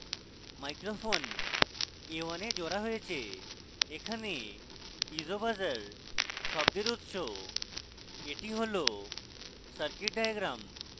microphone mic a1 a জোড়া হয়েছে এখানে piezo buzzer piezo শব্দের উৎস এটি হল সার্কিট ডায়াগ্রাম